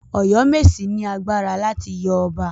Ọ̀yọ́mèsì ni agbára láti yọ ọba.